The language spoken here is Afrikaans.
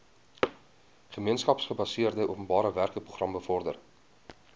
gemeenskapsgebaseerde openbarewerkeprogram bevorder